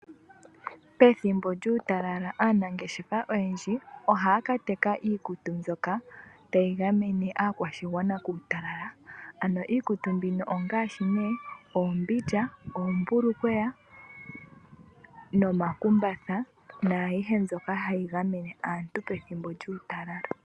Pethimbo lyuutalala aanangeshefa oyendji ohaya kateka iikutu mbyoka tayi gamene aakwashigwana kuutalala, ano iikutu mbino ongaashi ne, oombindja, oombulukweya, nomakumbatha, nayihe mbyoka hayi gamene aantu pethimbo lyuutalala.